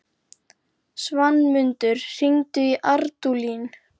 Svanmundur, hringdu í Ardúlín.